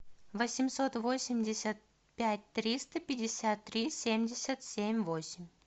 восемьсот восемьдесят пять триста пятьдесят три семьдесят семь восемь